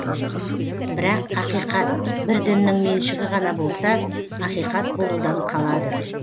бірақ ақиқат бір діннің меншігі ғана болса ақиқат болудан қалады